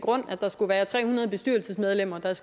at tre hundrede bestyrelsesmedlemmer